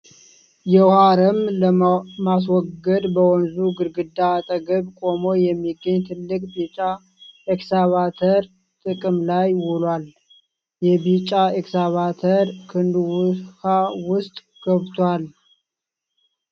የውኃ አረም ለማስወገድ፣ በወንዙ ግድግዳ አጠገብ ቆሞ የሚገኝ ትልቅ ቢጫ ኤክስካቫተር ጥቅም ላይ ውሏል። የቢጫ ኤክስካቫተር ክንዱ ውኃ ውስጥ ገብቷል።